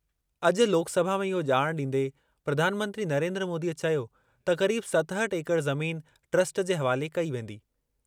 अॼु लोकसभा में इहो ॼाण ॾींदे प्रधानमंत्री नरेन्द्र मोदीअ चयो त क़रीब सतहठि एकड़ ज़मीन ट्रस्ट जे हवाले कई वेंदी।